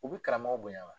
U bi karamɔgɔw bonya wa